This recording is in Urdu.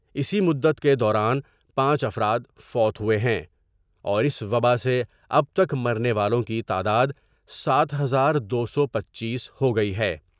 اسی مدت کے دوران پانچ افرادفوت ہوئے ہیں اور اس وباء سے اب تک مرنے والوں کی تعداد سات ہزار دو سو پنچیس ہوگئی ہے ۔